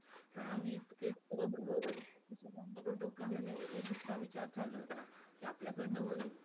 आम्ही इतके दम भरून डोक्यामध्ये दुसरा विचार चालू होता. कि आपल्याकडून होईल,